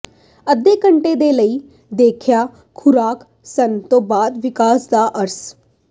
ਅੱਧੇ ਘੰਟੇ ਦੇ ਲਈ ਦੇਖਿਆ ਖੁਰਾਕ ਸਣ ਦੇ ਬਾਅਦ ਵਿਕਾਸ ਦਾ ਅਸਰ